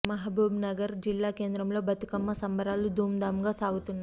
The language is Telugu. మహబూబ్ నగర్ జిల్లా కేంద్రంలో బతుకమ్మ సంబరాలు ధూమ్ ధామ్ గా సాగుతున్నాయి